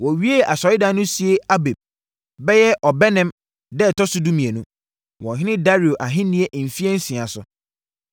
Wɔwiee asɔredan no sie Abib (bɛyɛ Ɔbɛnem) da a ɛtɔ so dumienu, wɔ ɔhene Dario ahennie mfeɛ nsia so.